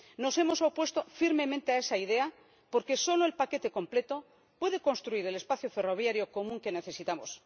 Nos hemos opuesto firmemente a esa idea porque solo el paquete completo puede construir el espacio ferroviario común que necesitamos.